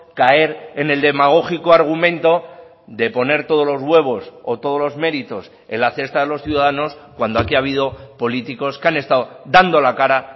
caer en el demagógico argumento de poner todos los huevos o todos los méritos en la cesta de los ciudadanos cuando aquí ha habido políticos que han estado dando la cara